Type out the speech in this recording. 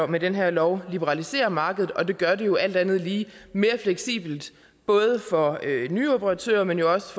med den her lov liberaliserer markedet og det gør det jo alt andet lige mere fleksibelt både for nye operatører men jo også